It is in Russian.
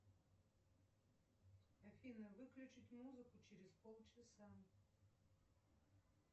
афина выключить музыку через полчаса